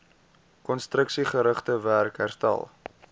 konstruksiegerigte werk herstel